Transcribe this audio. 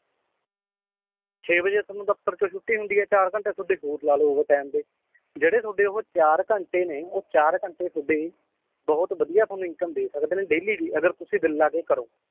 ਛੇ ਵਜੇ ਤੁਹਾਨੂੰ ਦਫਤਰ ਤੋਂ ਛੁੱਟੀ ਹੁੰਦੀ ਏ ਚਾਰ ਘੰਟੇ ਤੁਹਾਡੇ ਹੋਰ ਲਾਲੋ over time ਦੇ ਜਿਹੜੇ ਤੁਹਾਡੇ ਉਹ ਚਾਰ ਘੰਟੇ ਨੇ ਉਹ ਚਾਰ ਘੰਟੇ ਤੁਹਾਡੇ ਬਹੁਤ ਬਧਿਆ ਤੁਹਾਨੂੰ income ਦੇ ਸਕਦੇ ਨੇ daily ਦੀ ਅਗਰ ਤੁਸੀ ਦਿੱਲ ਲਾ ਕੇ ਕਰੋ